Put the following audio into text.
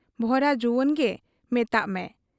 ᱵᱷᱚᱨᱟ ᱡᱩᱣᱟᱹᱱᱜᱮ ᱢᱮᱛᱟᱜ ᱢᱮ ᱾